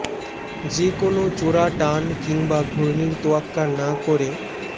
যে কোনো চোরা টান কিংবা ঘূর্ণির তোয়াক্কা না করে